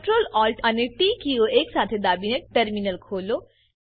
Ctrl Alt અને T કીઓ એક સાથે દાબીને ટર્મિનલ ખોલો